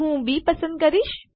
હું બી પસંદ કરીશ